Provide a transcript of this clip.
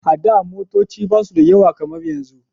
A da motoci ba su da yawa kamar yanzu